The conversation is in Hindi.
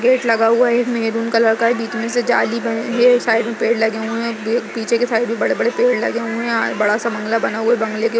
गेट लगा हुआ है। एक मैहरून कलर का बीच में से जाली बनी हुई है। साइड में पेड़ लगे हुए हैं। वेग पीछे की साइड भी बड़े-बड़े पेड़ लगे हुए हैं और बड़ा सा बंगला बना हुआ है बंगले के --